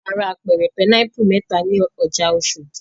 A ra apẹ̀rẹ̀ pinápù mẹ́ta ní ọjà Oṣòdì.